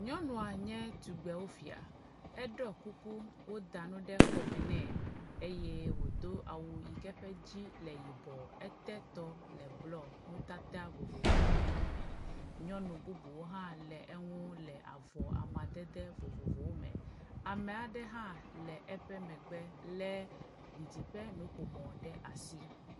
Nyɔnua nye tugbewofia, eɖɔ kuku, woda nu ɖe kɔme nɛ eye wòdo awu yike eƒe edzi le yibɔ, ete tɔ le blɔ, nutata vovovowo le eme. Nyɔnu bubuwo hã le eŋu le avɔ amadede vovovowo me. Ame aɖe hã le eƒe megbe lé didiƒe nuƒomɔ ɖe asi.